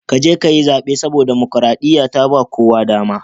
Ka je ka yi zabe, saboda damakaraɗiya ta ba kowa dama.